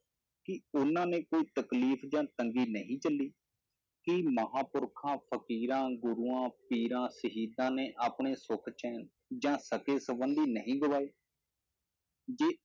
ਕੀ ਉਹਨਾਂ ਨੇ ਕੋਈ ਤਕਲੀਫ਼ ਜਾਂ ਤੰਗੀ ਨਹੀਂ ਝੱਲੀ, ਕੀ ਮਹਾਂਪੁਰਖਾਂ, ਫ਼ਕੀਰਾਂ, ਗੁਰੂਆਂ, ਪੀਰਾਂ, ਸ਼ਹੀਦਾਂ ਨੇ ਆਪਣੇ ਸੁਖ ਚੈਨ ਜਾਂ ਸ਼ਕੇ ਸੰਬੰਦੀ ਨਹੀਂ ਗਵਾਏ ਜੇ